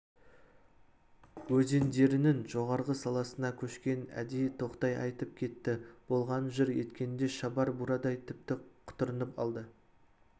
өзендерінің жоғарғы саласына көшкенін әдейі тоқтай айтып кетті болғанын жыр еткенінде шабар бурадай тіпті құтырынып алды